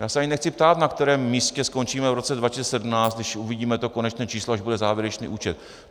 Já se ani nechci ptát, na kterém místě skončíme v roce 2017, když uvidíme to konečné číslo, až bude závěrečný účet.